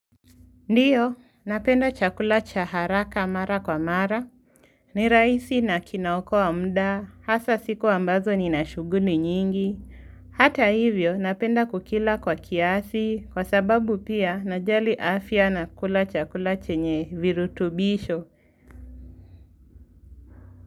Ndio, napenda chakula cha haraka mara kwa mara. Ni rahisi na kinaoko wa muda, hasa siku ambazo ni na shughuli nyingi. Hata hivyo napenda kukila kwa kiasi, kwa sababu pia najali afya na kula chakula chenye virutubisho.